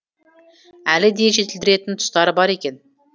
әлі де жетілдіретін тұстары бар екен